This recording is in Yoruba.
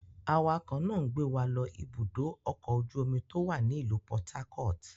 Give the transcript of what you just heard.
Awakọ̀ náà ń gbé wa lọ Ibùdó-ọkọ̀ ojú-omi tó wà ní ìlú Port Harcourt.